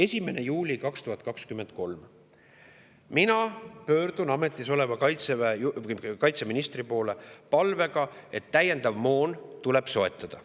1. juulil 2023 pöördusin mina ametis oleva kaitseministri poole palvega, et täiendav moon tuleb soetada.